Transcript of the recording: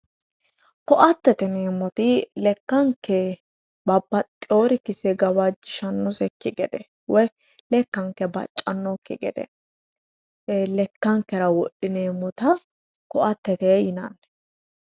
koatete yineemmoti lekkanke babbaxeeworichi gane gawajjishshannokki gede woy lekkanke baccannokki gede lekkankera wodhineemmota koattete yinanni